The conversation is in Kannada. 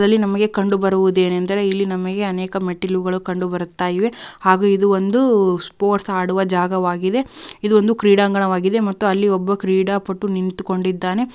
ಇದ್ರಲ್ಲಿ ನಮಗೆ ಕಂಡುಬರುಹುದೇನೆಂದರೆ ಇಲ್ಲಿ ನಮಗೆ ಅನೇಕ ಮೆಟ್ಟಿಲುಗಳು ಕಂಡು ಬರುತ್ತಾ ಇವೆ ಹಾಗು ಇದು ಒಂದು ಸ್ಪೋರ್ಟ್ಸ್ ಆಡುವ ಜಾಗವಾಗಿದೆ ಇದೊಂದು ಕ್ರೀಡಾಂಗಣವಾಗಿದೆ ಮತ್ತು ಅಲ್ಲಿ ಒಬ್ಬ ಕ್ರೀಡಾಪಟು ನಿಂತುಕೊಂಡಿದ್ದಾನೆ.